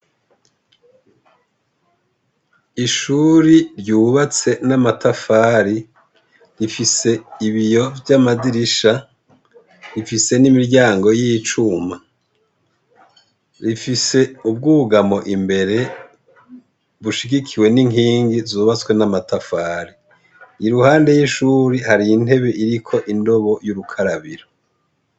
Ishuri ryubatse n'amatafari rifise ibiyo vy'amadirisha rifise n'imiryango y'icuma rifise ubwugamo imbere bushigikiwe n'inkingi zubatswe n'amatafari i ruhande y'ishuri hari intebe iriko indobo y'urukarabiro.